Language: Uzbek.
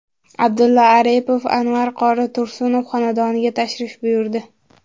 Abdulla Aripov Anvar qori Tursunov xonadoniga tashrif buyurdi.